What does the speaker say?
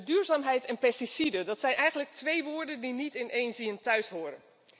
Duurzaamheid en pesticiden, dat zijn eigenlijk twee woorden die niet in één zin thuishoren.